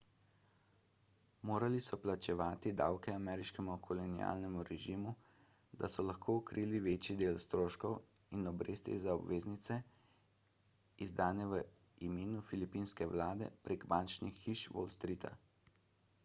morali so plačevati davke ameriškemu kolonialnemu režimu da so lahko krili večji del stroškov in obresti za obveznice izdane v imenu filipinske vlade prek bančnih hiš wall streeta